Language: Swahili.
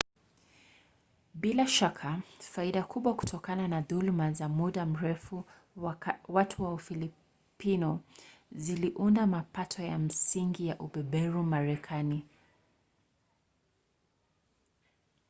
bila shaka faida kubwa kutokana na dhuluma za muda mrefu za watu wa ufilipino ziliunda mapato ya msingi ya ubeberu wa marekani